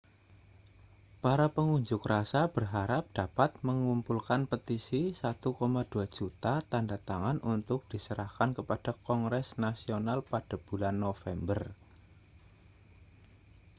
para pengunjuk rasa berharap dapat mengumpulkan petisi 1,2 juta tanda tangan untuk diserahkan kepada kongres nasional pada bulan november